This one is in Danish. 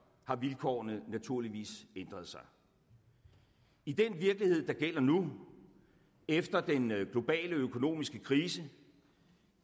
har vilkårene naturligvis ændret sig i den virkelighed der gælder nu efter den globale økonomiske krise